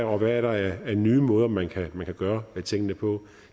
og hvad der er af nye måder man kan gøre tingene på